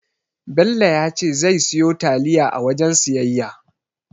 Bello ya ce zai siyo taliya a wajen siyayya.